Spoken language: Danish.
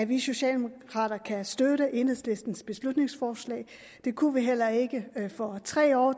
vi socialdemokrater kan støtte enhedslistens beslutningsforslag det kunne vi heller ikke for tre år